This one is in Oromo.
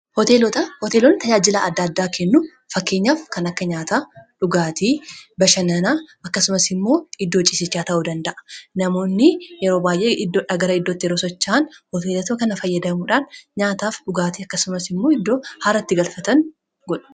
Hooteeloonni tajaajilaa adda-addaa kennu fakkeenyaaf kan akka nyaata, dhugaatii, bashannanaa akkasumas immoo iddoo cisichaa ta'uu danda'a. Namoonni yeroo baay'ee iddoo tokko irraa gara iddoo biratti yeroo socha'an hoteelato kana fayyadamuudhaan nyaataaf dhugaatii akkasumas immoo iddoo haaratti galfatan ni godha.